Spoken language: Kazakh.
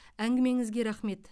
әңгімеңізге рахмет